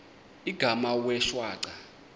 igama wee shwaca